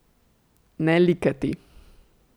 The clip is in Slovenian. Ne likati.